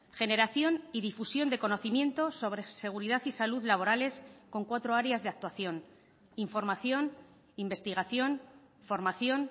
generación y difusión de conocimientos sobre seguridad y salud laborales con cuatro áreas de actuación información investigación formación